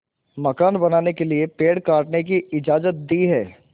मकान बनाने के लिए पेड़ काटने की इजाज़त दी है